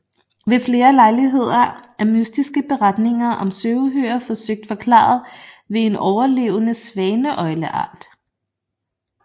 Ved flere lejligheder er mystiske beretninger om søuhyrer forsøgt forklaret ved en overlevende svaneøgleart